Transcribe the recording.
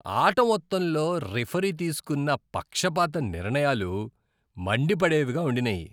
ఆట మొత్తంలో రిఫరీ తీసుకున్న పక్షపాత నిర్ణయాలు మండిపడేవిగా ఉండినాయి.